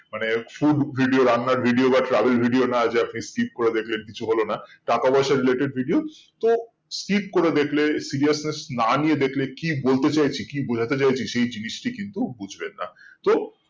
মানে food video রান্না video বা travel video না যে আপনি skip দেখলেন কিছু হলো না টাকা পয়সা related video তো skip করে দেখলে seriousness না নিয়ে দেখলে কি বলতে চাইছি কি বোঝাতে চাইছি সেই জিনিসটি কিন্তু বুজবেন না তো